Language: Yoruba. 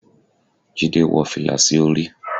jide wó filá sí orí